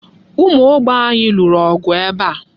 Ụmụ Ogbe anyị lụrụ ọgụ ebe a.